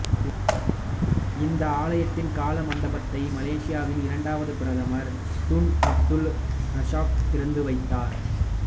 இந்த ஆலயத்தின் கலா மண்டபத்தை மலேசியாவின் இரண்டாவது பிரதமர் துன் அப்துல் ரசாக் திறந்து வைத்தார்